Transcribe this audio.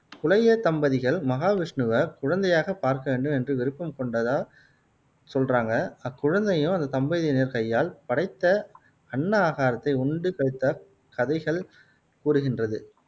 தம்பதிகள் மகாவிஷ்ணுவை குழந்தையாக பார்க்க வேண்டும் என்று விருப்பம் கொண்டதா சொல்றாங்க அக்குழந்தையும் அந்த தம்பதியினர் கையால் படைத்த அன்ன ஆகாரத்தை உண்டு கழித்தார் கதைகள் கூறுகின்றது